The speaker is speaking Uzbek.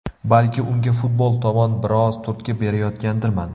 Balki unga futbol tomon biroz turtki berayotgandirman.